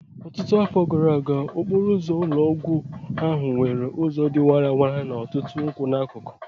Ọtụtụ afọ gara aga, okporo ụzọ ụlọ ọgwụ ahụ nwere ụzọ dị warara na ọtụtụ nkwụ n'akụkụ